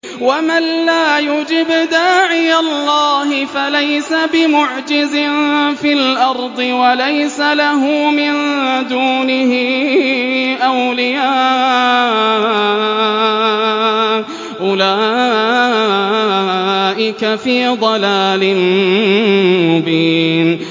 وَمَن لَّا يُجِبْ دَاعِيَ اللَّهِ فَلَيْسَ بِمُعْجِزٍ فِي الْأَرْضِ وَلَيْسَ لَهُ مِن دُونِهِ أَوْلِيَاءُ ۚ أُولَٰئِكَ فِي ضَلَالٍ مُّبِينٍ